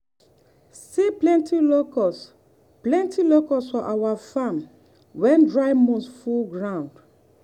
i see plenty locust plenty locust for our farm when dry months full ground.